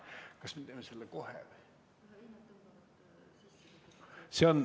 Kas me teeme seda kohe?